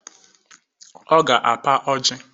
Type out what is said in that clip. Ọ ga-apa ọjị